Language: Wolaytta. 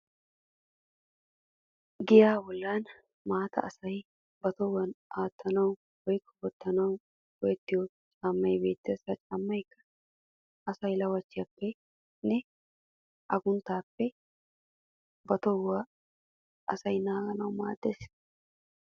Giyaa bollan maatta asa ba tohuwan aattanawu woykko wottanawu go'ettiyo caammay beettes. Ha caammayikka asaa lawachchiyappenne agunttaappe ba tohuwan asay naaganawu maaddes.